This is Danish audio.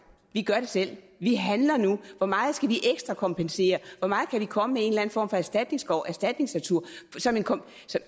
vi gør det selv vi handler nu hvor meget skal vi ekstrakompensere hvor meget skal vi komme med en eller anden form for erstatningsskov erstatningsnatur